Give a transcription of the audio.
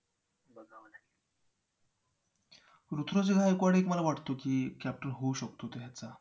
ऋतुराज गायकवाड एक मला वाटतो की captain होऊ शकतो तो ह्याचा